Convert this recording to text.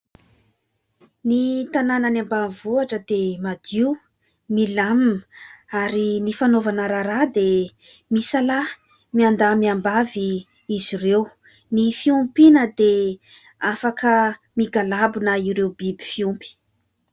Ny tanàna any Ambanivohitra dia madio, milamima ; ary ny fanaovana raharaha dia misalaha miandahy-miambavy izy ireo. Ny fiompiana dia afaka migalabona ireo biby fiompy.